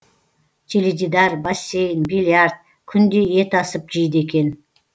теледидар бассейн биллиард күнде ет асып жейді екен